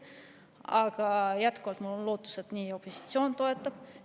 Aga mul on jätkuvalt lootus, et opositsioon toetab seda.